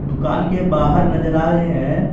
दुकान के बाहर नजर आ रहे हैं।